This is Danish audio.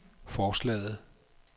forslaget